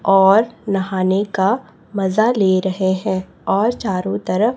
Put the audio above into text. और नहाने का मजा ले रहे हैं और चारों तरफ--